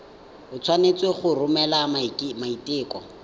o tshwanetse go romela maiteko